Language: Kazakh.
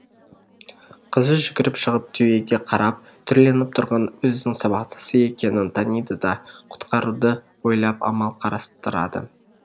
қызы жүгіріп шығып түйеге қарап түрленіп тұрған өзінің сабақтасы екенін таниды да құтқаруды ойлап амал қарастырады